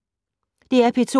DR P2